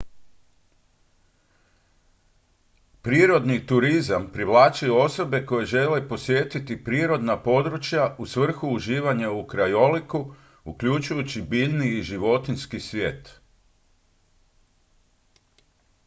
prirodni turizam privlači osobe koje žele posjetiti prirodna područja u svrhu uživanja u krajoliku uključujući biljni i životinjski svijet